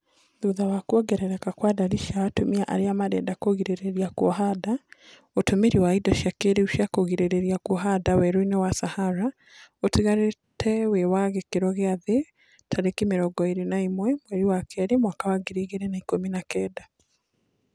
Ona thutha wa kuongereka kwa ndari cia atumia aria marenda kũgirĩrĩa kuoha nda, utumĩri wa indo cia kĩrĩu cia kugirĩrĩa kuoha nda weru-inĩ wa Sahara, utigarĩte wĩwa gĩkĩro gĩa thĩ tarĩki mĩrongo ĩrĩ na ĩmwe mweri wa kerĩ mwaka wa ngiri igĩrĩ na ikũmi na kenda